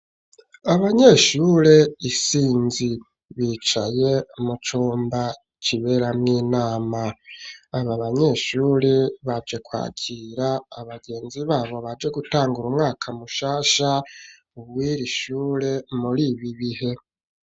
Abanyeshure isinzi bicaye mu cumba kiberamwo inama aba abanyeshure baje kwakira abagenzi babo baje gutangura umwaka mushasha ubwire ishure muri ibi bihe.